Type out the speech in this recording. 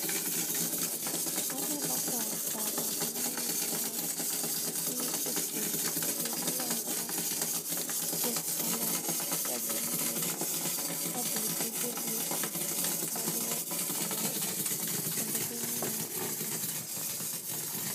Aneno ka baba gi miyo moro nie puodho kendo giloso puoth alot ka ging'iyo kabe dibedie kudni maluwo alot kendo ging'iyo alot.